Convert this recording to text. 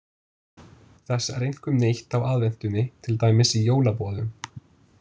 Þess er einkum neytt á aðventunni, til dæmis í jólaboðum.